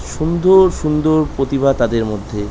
সুন্দর সুন্দর প্রতিভা তাদের মধ্যে ।